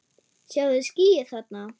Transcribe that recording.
Sjáiði skýið þarna?